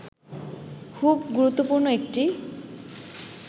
খুব গুরুত্বপূর্ণ একটি